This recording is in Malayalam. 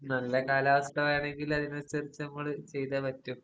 നല്ല കാലാവസ്ഥ വേണെങ്കില് അതിനനുസരിച്ച് നമ്മള് ചെയ്തേ പറ്റു.